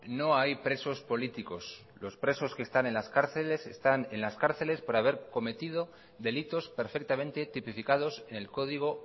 no hay presos políticos los presos que están en las cárceles están en las cárceles por haber cometido delitos perfectamente tipificados en el código